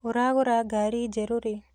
ũragũra ngari njerũ rĩ?